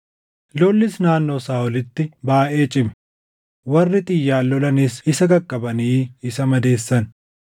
Lollis naannoo Saaʼolitti baayʼee cime; warri xiyyaan lolanis isa qaqqabanii isa madeessan.